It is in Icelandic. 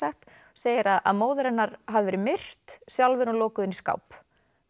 segir að móðir hennar hafi verið myrt sjálf er hún lokuð inni í skáp